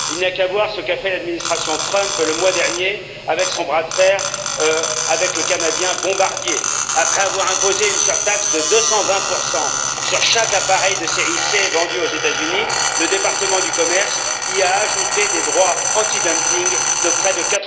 Il n'y a qu'à voir ce qu'a fait l'administration Trump, le mois dernier, avec son bras de fer avec le canadien Bombardier, après avoir imposé une surtaxe de 220 sur chaque appareil de série C vendu aux États Unis, le département du commerce y a ajouté des droits antidumping de près de